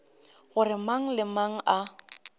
gore mang le mang a